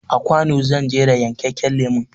A kwano zan jera yankakken lemon